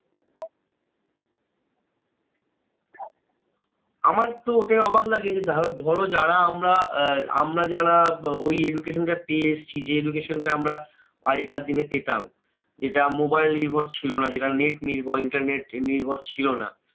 আমার তো ওটাই অবাক লাগে যে, ধরো যারা আমরা আহ আমরা যারা আহ ওই education টা পেয়ে এসেছি যে education টা আমরা আগেকার দিনে পেতাম। যেটা mobile নির্ভর ছিলনা যেটা net নির্ভর internet নির্ভর ছিল না।